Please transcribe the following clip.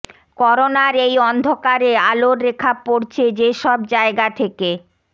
করোনার এই অন্ধকারে আলোর রেখা পড়ছে যে সব জায়গা থেকে